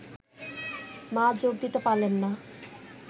মা যোগ দিতে পারলেন না